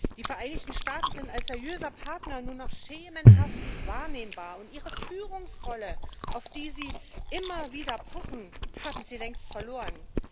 Die Vereinigten Staaten sind als seriöser Partner nur noch schemenhaft wahrnehmbar, und ihre Führungsrolle, auf die sie immer wieder pochen, haben sie längst verloren.